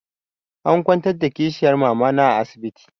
An kwantar da kishiyar mamana a asibiti.